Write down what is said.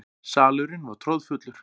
Salurinn var troðfullur.